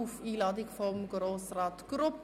Sie sind auf Einladung von Grossrat Grupp anwesend.